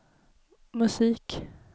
musik